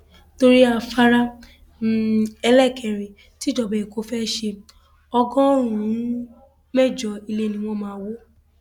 torí afárá um ẹlẹẹkẹrin tíjọba ẹkọ fée ṣe ọgọrùnún mẹjọ ilé ni wọn máa wọ um